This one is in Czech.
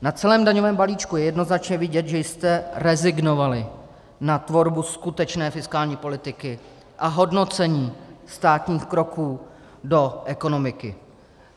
Na celém daňovém balíčku je jednoznačně vidět, že jste rezignovali na tvorbu skutečné fiskální politiky a hodnocení státních kroků do ekonomiky.